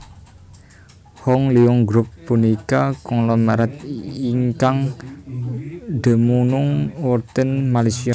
Hong Leong Group punika konglomerat ingkang dumunung wonten Malaysia